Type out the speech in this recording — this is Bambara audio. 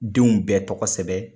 Denw bɛɛ tɔgɔ sɛbɛn.